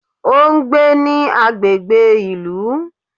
O n gbé ní agbègbè ìlú